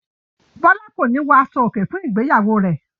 Bọ́lá kò ní wọ aṣọòkè fún ìgbéyàwó rẹ̀.